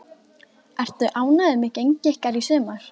Ertu ánægður með gengi ykkar í sumar?